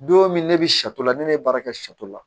Don min ne bɛ sato la ne ye baara kɛ sɛ la